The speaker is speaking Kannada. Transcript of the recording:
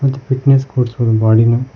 ಇದು ಫಿಟ್ನೆಸ್ ಕೋಚ್ಮೆನ್ ಬಾಡಿ ನ--